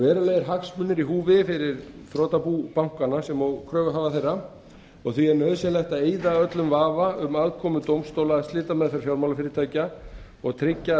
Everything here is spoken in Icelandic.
verulegir hagsmunir eru í húfi fyrir þrotabú bankanna sem og kröfuhafa þeirra og því er nauðsynlegt að eyða öllum vafa um aðkomu dómstóla að slitameðferð fjármálafyrirtækja og tryggja að